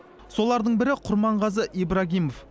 солардың бірі құрманғазы ибрагимов